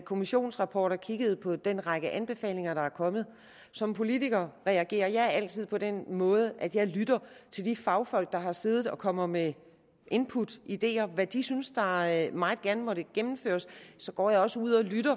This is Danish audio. kommissionsrapport og kigget på den række anbefalinger der er kommet som politiker reagerer jeg altid på den måde at jeg lytter til de fagfolk der har siddet og kommet med input og ideer til hvad de synes meget meget gerne måtte blive gennemført så går jeg også ud og lytter